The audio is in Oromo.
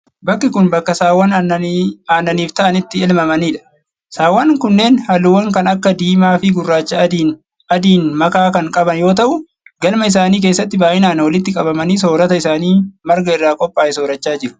Bakki kun, bakka saawwan aannaniif ta'an itti elmamaniidha. Sa'awwan kunneen haalluuwwan kan akka:diimaa fi gurraacha adiin makaa kan qaban yoo ta'u, galma isaanii keessatti baay'inaan walitti qabamanii soorata isaanii marga irraa qophaa'e soorachaa jiru.